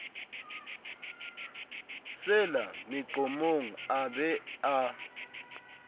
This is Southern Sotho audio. sela meqomong a be a